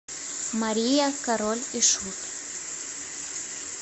мария король и шут